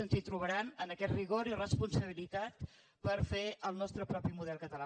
ens hi trobaran en aquest rigor i responsabilitat per fer el nostre propi model català